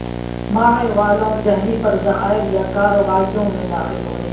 مائع والو جھلی پر ذخائر یا کارروائیوں میں داخل ہونے